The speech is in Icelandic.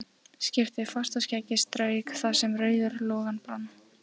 Skyrpti fast og skeggið strauk þar sem rauður loginn brann.